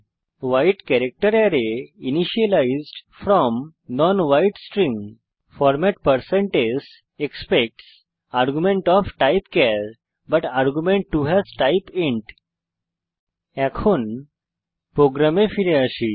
weed character array initialized from non wide string format160s expects argument of type char but argument 2 has type int প্রোগ্রামে ফিরে আসি